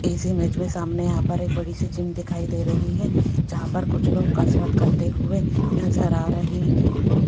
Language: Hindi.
इस इमेज में सामने यहाँ पर एक बड़ी सी जिम दिखाई दे रही है जहां पर कुछ लोग कसरत करते हुए नजर आ रहे हैं।